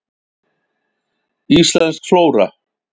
Íslensk flóra.